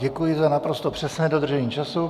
Děkuji za naprosto přesné dodržení času.